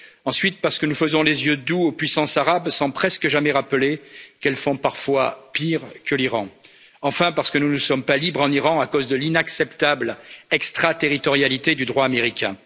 Ensuite, parce que nous faisons les yeux doux aux puissances arabes sans presque jamais rappeler qu'elles font parfois pire que l'Iran. Enfin, parce que nous ne sommes pas libres en Iran à cause de l'inacceptable extraterritorialité du droit américain.